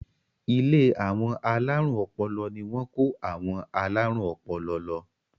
Ilé àwọn alárùn ọpọlọ ni wọ́n kó àwọn alárùn ọpọlọ lọ.